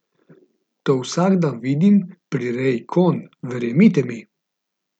To vsak dan vidim pri reji konj, verjemite mi.